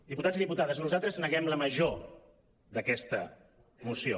diputats i diputades nosaltres neguem la major d’aquesta moció